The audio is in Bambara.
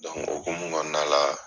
o hokumu kɔnɔna la.